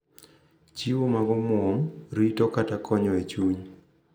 Chiwo mag omwom, rito, kata konyo e chuny.